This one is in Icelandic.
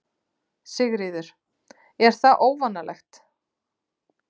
Sigríður: Er það óvanalegt?